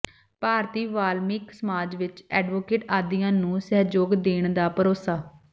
ਭਾਰਤੀ ਵਾਲਮੀਕਿ ਸਮਾਜ ਵੱਲੋਂ ਐਡਵੋਕੇਟ ਆਦੀਆ ਨੰੂ ਸਹਿਯੋਗ ਦੇਣ ਦਾ ਭਰੋਸਾ